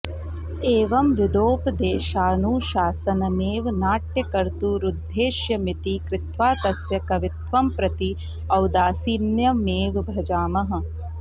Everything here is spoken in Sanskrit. एवं विधोपदेशानुशासनमेव नाट्यकर्तुरुद्देश्यमिति कृत्वा तस्य कवित्वं प्रति औदासीन्यमेव भजामः